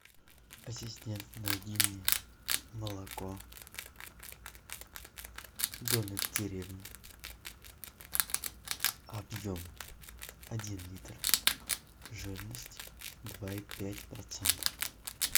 ассистент найди мне молоко домик в деревне объем один литр жирность два и пять процента